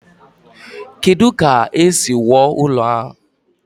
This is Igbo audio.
Kedu ka esi wuo ụlọ ahụ?